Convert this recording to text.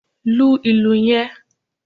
Lu ìlù yen